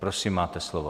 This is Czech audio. Prosím, máte slovo.